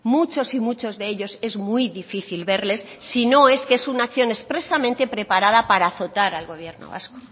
muchos y muchos de ellos es muy difícil verles sino es que es una acción expresamente preparada para azotar al gobierno vasco